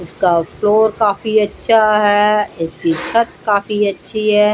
इसका फ्लोर काफी अच्छा है इसकी छत काफी अच्छी है।